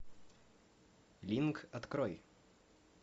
линк открой